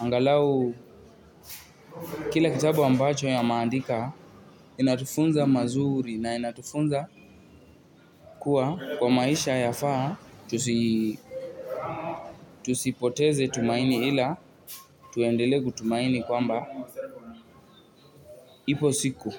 angalau kila kitabu ambacho ameandika inatufunza mazuri na inatufunza kuwa kwa maisha yafaa tusipoteze tumaini ila tuendelee kutumaini kwamba ipo siku.